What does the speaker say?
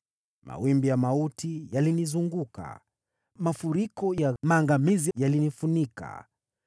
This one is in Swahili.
“Mawimbi ya mauti yalinizunguka, mafuriko ya maangamizi yalinilemea.